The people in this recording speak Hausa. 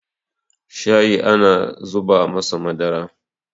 shayi ana zuba masa Madara